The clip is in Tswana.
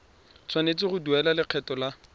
tshwanetse go duela lekgetho la